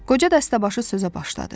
Qoca dəstəbaşı sözə başladı.